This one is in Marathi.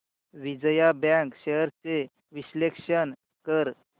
विजया बँक शेअर्स चे विश्लेषण कर